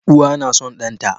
Uwa na son ɗan ta